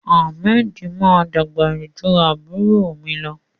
Ahmed ma dàgbà jù àbúrò mi lọ.